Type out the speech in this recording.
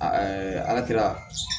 Aa ɛɛ ala kira